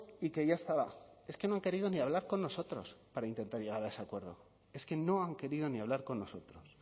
y que ya estaba es que no han querido ni hablar con nosotros para intentar llegar a ese acuerdo es que no han querido ni hablar con nosotros